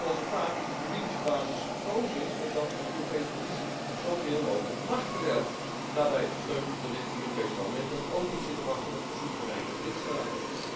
Zoals zo vaak is de juridische basis gekozen opdat de Europese Commissie zoveel mogelijk macht verwerft, daarbij gesteund door dit Europees Parlement dat ook niet zit te wachten op soevereine lidstaten.